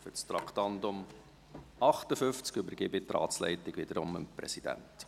Für das Traktandum 58 übergebe ich die Ratsleitung wieder dem Präsidenten.